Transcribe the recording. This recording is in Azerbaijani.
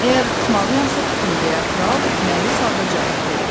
Əgər tutmalıyam tutum deyə kral məyus halda cavab verdi.